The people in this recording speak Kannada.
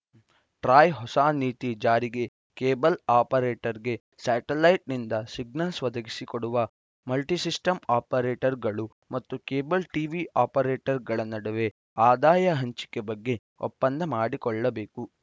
ಟ್ರಾಯ್‌ ಹೊಸ ನೀತಿ ಜಾರಿಗೆ ಕೇಬಲ್‌ ಆಪರೇಟರ್‌ಗೆ ಸ್ಯಾಟಲೈಟ್‌ನಿಂದ ಸಿಗ್ನಲ್ಸ್‌ ಒದಗಿಸಿ ಕೊಡುವ ಮಲ್ಟಿಸಿಸ್ಟಂ ಆಪರೇಟರ್‌ಗಳು ಮತ್ತು ಕೇಬಲ್‌ ಟಿವಿ ಆಪರೇಟರ್‌ಗಳ ನಡುವೆ ಆದಾಯ ಹಂಚಿಕೆ ಬಗ್ಗೆ ಒಪ್ಪಂದ ಮಾಡಿಕೊಳ್ಳಬೇಕು